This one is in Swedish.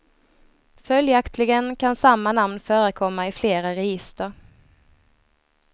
Följaktligen kan samma namn förekomma i flera register.